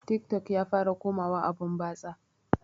Tik tok ya fara komawa abun batsa